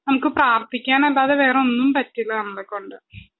നമുക്ക് പ്രാർത്ഥിക്കാനല്ലാതെ വേറൊന്നും പറ്റില്ല നമ്മളെകൊണ്ട്